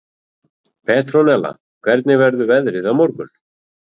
Petronella, hvernig verður veðrið á morgun?